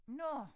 Nå